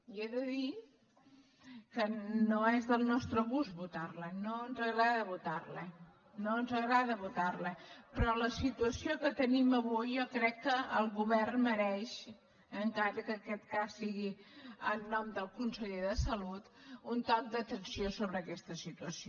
i he de dir que no és del nostre gust votar la no ens agrada votar la no ens agrada votar la però la situació que tenim avui jo crec que el govern mereix encara que aquest cas sigui en nom del conseller de salut un toc d’atenció sobre aquesta situació